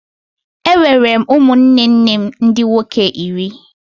Enwere m ụmụnne nne m ndị nwoke iri.